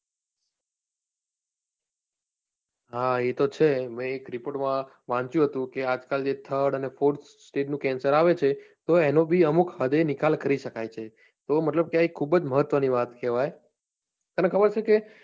હા એ તો છે મેં એક report માં વાંચ્યું હતું કે આં આજ કાલ third અને fourth stage નું કેન્સર આવે છે તો એનો બી અમુક હદે નિકાલ કરી સકાય છે તો મતલબ કે આ ખુબજ મહત્વ ની વાત કહેવાય તને ખબર છે કે